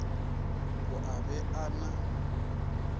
a o be a na